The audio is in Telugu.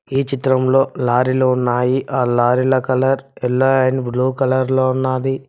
ఈ చిత్రంలో లారీలు ఉన్నాయి ఆ లారీల colour yellow and blue colour లో ఉన్నది.